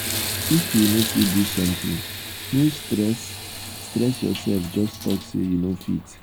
if you no fit do something no stress stress yourself just talk say you no fit.